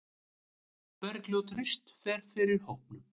Bergljót Rist fer fyrir hópnum.